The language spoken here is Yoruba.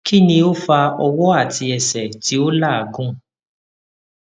kini o fa ọwọ ati ẹsẹ ti o lagun